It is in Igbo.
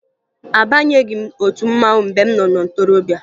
Abanyeghi m otu mmanwụ mgbe m nọ na ntorobịa